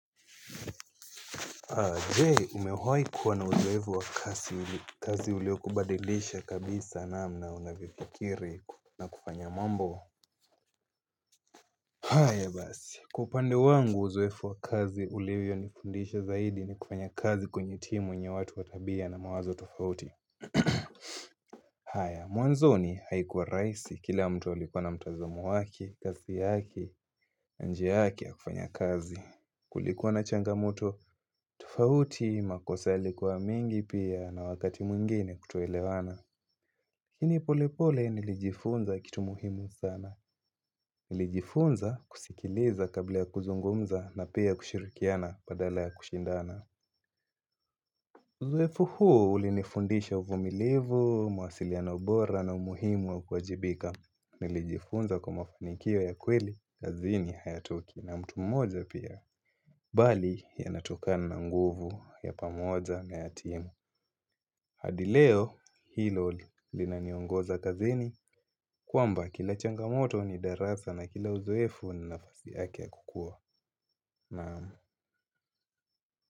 Aje umewahi kuwa na uzoefu wa kazi uliokubadilisha kabisa namna unavyofikiri na kufanya mambo haya basi kwa upande wangu uzoefu wa kazi uliovyo nifundisha zaidi ni kufanya kazi kwenye timu yenye watu wa tabia na mawazo tufauti haya mwanzoni haikuwa rahisi kila mtu alikuwa na mtazam wake, kazi yake, njia yake ya kufanya kazi Kulikuwa na changamoto, tofauti makosa yalikuwa mengi pia na wakati mwingine kutoelewana lakini pole pole nilijifunza kitu muhimu sana Nilijifunza kusikiliza kabla ya kuzungumza na pia kushirikiana badala ya kushindana uzoefu huo ulinifundisha uvumilivu, mawasiliano bora na umuhimu wa kuwajibika Nilijifunza kwa mafanikio ya kweli kazini hayatoki na mtu mmoja pia Bali yanatokana nguvu ya pamoja na ya timu hadi leo hilo linaniongoza kazini kwamba kila changamoto ni darasa na kila uzoefu ni nafasi yake ya kukua Naam.